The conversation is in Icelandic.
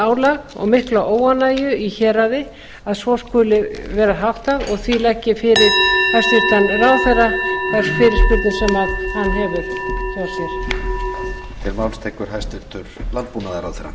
álag og mikla óánægju í héraði að svo skuli vera háttað og því legg ég fyrir hæstvirtan ráðherra þær fyrirspurnir sem hann hefur hjá sér